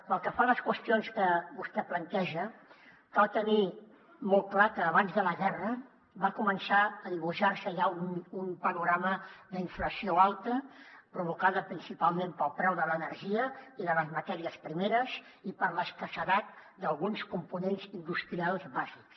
pel que fa a les qüestions que vostè planteja cal tenir molt clar que abans de la guerra va començar a dibuixar se ja un panorama d’inflació alta provocada principalment pel preu de l’energia i de les matèries primeres i per l’escassedat d’alguns components industrials bàsics